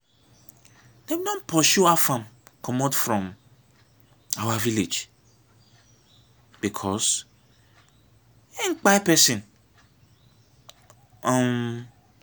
dem don pursue afam commot from our village because im kpai person um